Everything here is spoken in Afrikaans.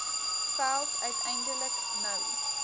veld uiteindelik nou